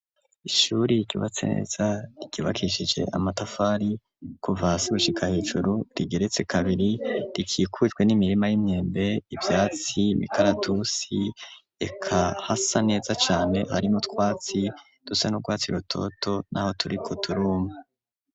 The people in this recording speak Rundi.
Ishuri, ryubatse neza, ryubakishije amatafari, kuva hasi, gushika hejuru, rigeretse kabiri, rikikujwe n'imirima y'imyembe, ivyatsi, imikaratusi, eka hasa neza cane, harimwo utwatsi, dusa n'urwatsi rutoto, n'aho turiko turuma.